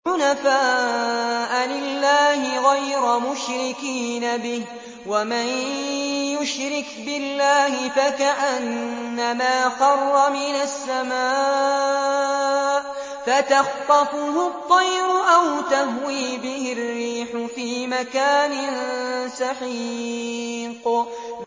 حُنَفَاءَ لِلَّهِ غَيْرَ مُشْرِكِينَ بِهِ ۚ وَمَن يُشْرِكْ بِاللَّهِ فَكَأَنَّمَا خَرَّ مِنَ السَّمَاءِ فَتَخْطَفُهُ الطَّيْرُ أَوْ تَهْوِي بِهِ الرِّيحُ فِي مَكَانٍ سَحِيقٍ